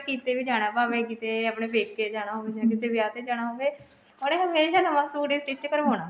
ਕਿਤੇ ਵੀ ਜਾਣਾ ਭਾਵੇਂ ਕਿਤੇ ਆਪਣੇ ਪੇਕੇ ਜਾਣਾ ਹੋਵੇ ਜਾ ਕਿਤੇ ਵਿਆਹ ਤੇ ਜਾਣਾ ਹੋਵੇ ਉਹਨੇ ਹਮੇਸ਼ਾ ਨਵਾਂ suit ਹੀ stitch ਕਰਵਾਉਣਾ